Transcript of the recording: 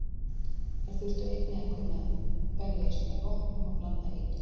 Þær þurftu einnig að kunna berjast með vopnum og blanda eitur.